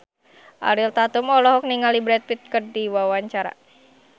Ariel Tatum olohok ningali Brad Pitt keur diwawancara